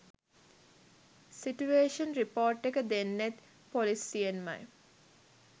Situation report එක දෙන්නෙත් පොලිසියෙන්මයි.